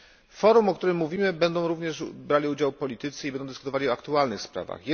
W Forum, o którym mówimy, będą również brali udział politycy i będą dyskutowali o aktualnych sprawach.